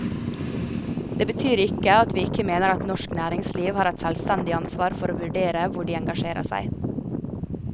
Det betyr ikke at vi ikke mener at norsk næringsliv har et selvstendig ansvar for å vurdere hvor de engasjerer seg.